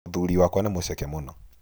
Mũthũri wakwa nĩ mũceke mũno.